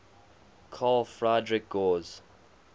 carl friedrich gauss